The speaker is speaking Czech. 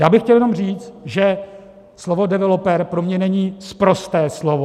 Já bych chtěl jenom říct, že slovo developer pro mě není sprosté slovo.